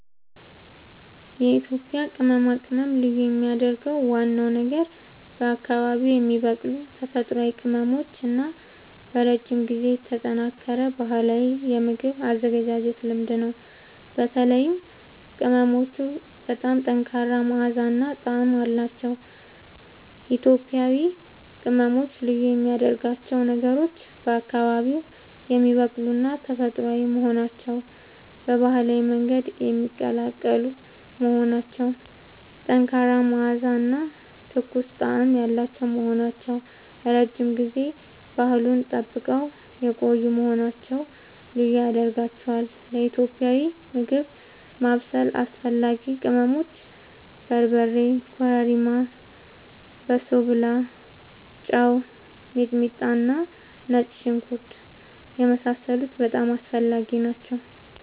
የኢትዮጵያ ቅመማ ቅመም ልዩ የሚያደርገው ዋናው ነገር በአካባቢዉ የሚበቅሉ ተፈጥሯዊ ቅመሞች እና በረጅም ጊዜ የተጠናከረ ባህላዊ የምግብ አዘገጃጀት ልምድ ነው። በተለይም ቅመሞቹ በጣም ጠንካራ መዓዛ እና ጣዕም አላቸዉ። ኢትዮጵያዊ ቅመሞች ልዩ የሚያደርጋቸው ነገሮች፦ በአካባቢዉ የሚበቅሉና ተፈጥሯዊ መሆናቸዉ፣ በባህላዊ መንገድ የሚቀላቀሉ መሆናቸዉ፣ ጠንካራ መዓዛ እና ትኩስ ጣዕም ያላቸዉ መሆናቸዉ፣ ረዥም ጊዜ ባህሉን ጠብቀዉ የቆዪ መሆናቸዉ ልዪ ያደርጋቸዋል። ለኢትዮጵያዊ ምግብ ማብሰል አስፈላጊ ቅመሞች፦ በርበሬ፣ ኮረሪማ፣ በሶብላ፣ ጨዉ፣ ሚጥሚጣና ነጭ ሽንኩርት የመሳሰሉት በጣም አስፈላጊ ናቸዉ